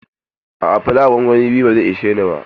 A'a, flawa gongoni biyu ba zai ishe ni ba.